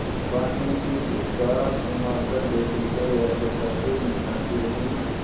भाँति सिर उचकाघुमाकर बेटे को व्यग्रता से निहारती रही